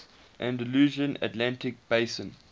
andalusian atlantic basin